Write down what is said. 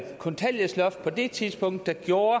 kontanthjælpsloftet på det tidspunkt der gjorde